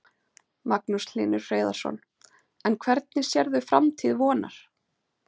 Magnús Hlynur Hreiðarsson: En hvernig sérðu framtíð Vonar?